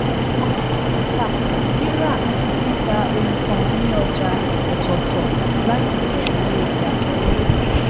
aláràtúntà ríra àti títà ohun kan ní ọjà ọtọọtọ láti jẹ èrè ìyàtọ owó